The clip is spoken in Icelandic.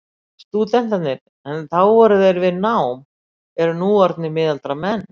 Stúdentarnir, er þá voru þar við nám, eru nú orðnir miðaldra menn.